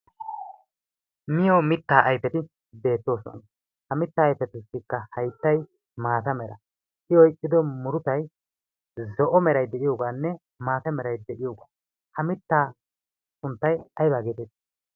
miyo mittaa aifeti beettoosona. ha mittaa aifetussikka haittai maata mera i oiqqido murutai zo7o merai de7iyoogaanne maata merai de7iyoogaa ha mittaa sunttai aibaageeteeti?